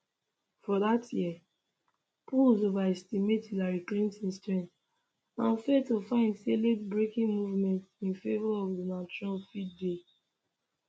for dat year polls overestimate hillary clinton strength and fail to find say latebreaking movement in favour of donald trump fit dey